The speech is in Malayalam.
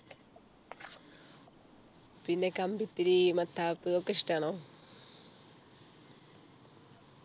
പിന്നെ കമ്പിത്തിരി മത്താപ്പ് ഒക്കെ ഇഷ്ടാണോ